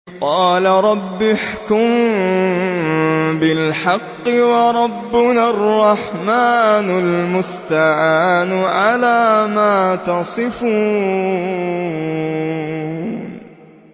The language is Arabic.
قَالَ رَبِّ احْكُم بِالْحَقِّ ۗ وَرَبُّنَا الرَّحْمَٰنُ الْمُسْتَعَانُ عَلَىٰ مَا تَصِفُونَ